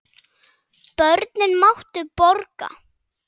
Börnin máttu borga.